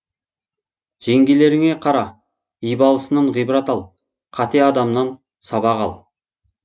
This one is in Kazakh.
жеңгелеріңе қара ибалысынан ғибрат ал қате қадамынан сабақ ал